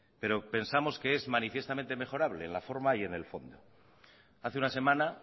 pero pensamos que es manifiestamente mejorable en la forma y en el fondo hace una semana